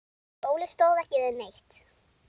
Óli stóð ekki við neitt.